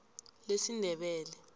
lesindebele